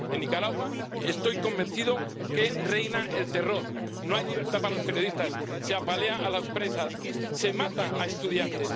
En Nicaragua, estoy convencido de que reina el terror, no hay libertad para los periodistas, se apalea a las presas, se mata a estudiantes.